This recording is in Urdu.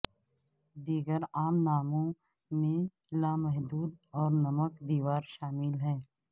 دیگر عام ناموں میں لامحدود اور نمک دیوار شامل ہیں